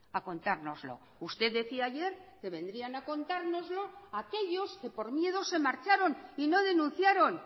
a contárnoslo usted decía ayer que vendrían a contárnoslo aquellos que por miedo se marcharon y no denunciaron